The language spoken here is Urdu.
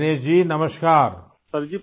دنیش جی ، نمسکار !